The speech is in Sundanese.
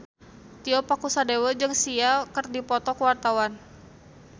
Tio Pakusadewo jeung Sia keur dipoto ku wartawan